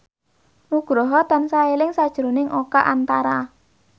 Nugroho tansah eling sakjroning Oka Antara